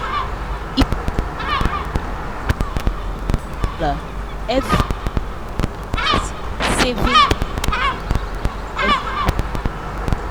if you dey save five hundred dollars every day e better pass saving three thousand dollars once a month.